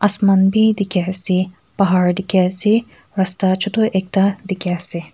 asaman bi dikhae ase rasta chutu ekta dikhaease.